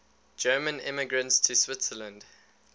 german immigrants to switzerland